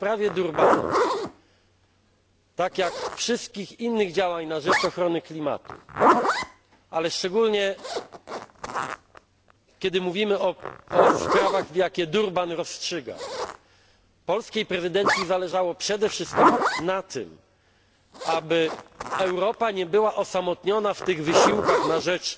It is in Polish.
W sprawie Durbanu, tak jak wszystkich innych działań na rzecz ochrony klimatu, ale szczególnie, kiedy mówimy o sprawach, jakie w Durbanie rozstrzygano, polskiej prezydencji zależało przede wszystkim na tym, aby Europa nie była osamotniona w tych wysiłkach na rzecz